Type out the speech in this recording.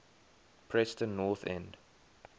preston north end